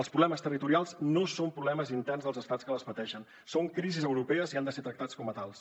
els problemes territorials no són problemes interns dels estats que els pateixen són crisis europees i han de ser tractats com a tals